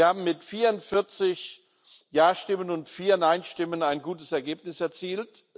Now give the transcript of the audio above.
Wir haben mit 44 Ja Stimmen und vier Nein Stimmen ein gutes Ergebnis erzielt.